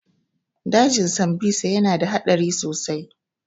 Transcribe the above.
Dajin sambisa ya na da haɗari sosai